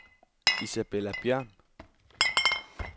Isabella Bjørn